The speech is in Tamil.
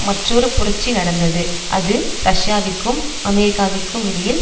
மற்றொரு புரட்சி நடந்தது அது ரஷ்யாவிற்கும் அமெரிக்காவிற்கும் இடையில்